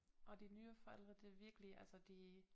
Og de nye forældre det virkelig altså de